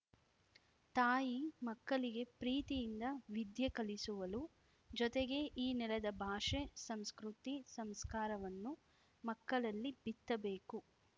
ತಾಯಿ ಮಕ್ಕಳಿಗೆ ಪ್ರೀತಿಯಿಂದ ವಿದ್ಯೆ ಕಲಿಸುವಳು ಜೊತೆಗೆ ಈ ನೆಲದ ಭಾಷೆ ಸಂಸ್ಕೃತಿ ಸಂಸ್ಕಾರವನ್ನು ಮಕ್ಕಳಲ್ಲಿ ಬಿತ್ತಬೇಕು